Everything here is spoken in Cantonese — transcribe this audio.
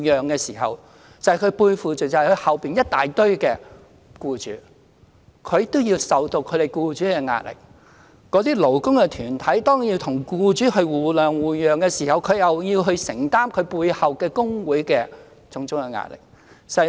僱主的代表要面對背後一大堆僱主，要承受這些僱主的壓力；而當勞工的代表要與僱主互諒互讓時，則要承受其背後工會的種種壓力。